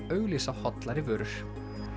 auglýsa hollari vörur